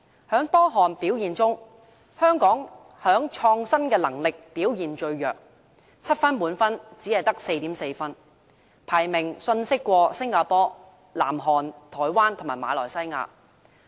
在多項表現中，香港在創新能力上表現最弱 ，7 分為滿分，香港只得 4.4 分，排名遜色於新加坡、南韓、台灣及馬來西亞。